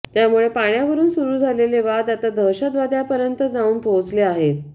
त्यामुळे पाण्यावरून सुरू झालेले वाद आता दहशतवादापर्यंत जाऊन पोहचले आहेत